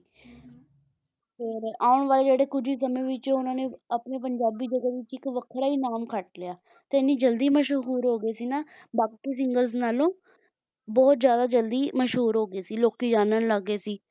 ਫੇਰ ਆਉਣ ਵਾਲੇ ਜਿਹੜਾ ਕੁਝ ਸਮੇਂ ਵਿੱਚ ਉਨ੍ਹਾਂ ਨੇ ਆਪਣੇ ਪੰਜਾਬੀ ਜਗਤ ਵਿੱਚ ਇੱਕ ਵੱਖਰਾ ਹੀ ਨਾਮ ਖੱਟ ਲਿਆ ਤੇ ਐਨੀ ਜਲਦੀ ਮਸ਼ਹੂਰ ਹੋ ਗਏ ਸੀ ਨਾ ਬਾਕੀ singers ਨਾਲੋਂ ਬਹੁਤ ਜਿਆਦਾ ਮਸ਼ਹੂਰ ਹੋ ਗਏ ਸੀ ਲੋਕੀਂ ਜਾਨਣ ਲੱਗ ਗਏ ਸੀ